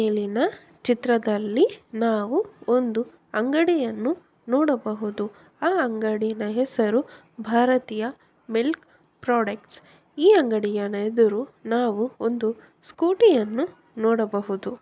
ಇಲ್ಲಿನ ಚಿತ್ರದಲ್ಲಿ ನಾವು ಒಂದು ಅಂಗಡಿಯನ್ನು ನೋಡಬಹುದು. ಆ ಅಂಗಡಿಯ ಹೆಸರು ಭಾರತೀಯ ಮಿಲ್ಕ್ ಪ್ರಾಡಕ್ಟ್ . ಈ ಅಂಗಡಿಯ ಎದುರು ನಾವು ಒಂದು ಸ್ಕೂಟಿಯನ್ನು ನೋಡಬಹುದು.